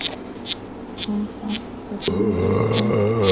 Hvernig fannst þér liðið standa sig?